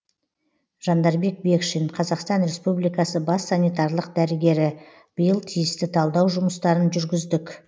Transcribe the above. жандарбек бекшин қазақстан республикасы бас санитарлық дәрігері биыл тиісті талдау жұмыстарын жүргіздік